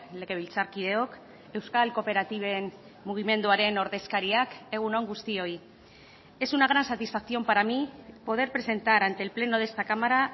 legebiltzarkideok euskal kooperatiben mugimenduaren ordezkariak egun on guztioi es una gran satisfacción para mí poder presentar ante el pleno de esta cámara